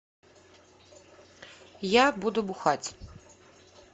я буду бухать